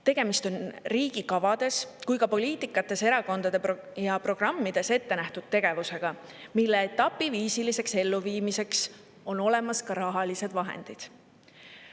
Tegemist on nii riigi kavades kui ka erakondade programmides ette nähtud tegevusega, mille etapiviisiliseks elluviimiseks on olemas ka rahalised vahendid.